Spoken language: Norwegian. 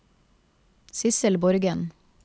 Sidsel Borgen